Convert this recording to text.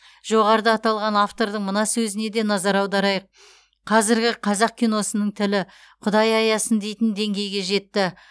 жоғарыда аталған автордың мына сөзіне де назар аударайық қазіргі қазақ киносының тілі құдай аясын дейтін деңгейге жетті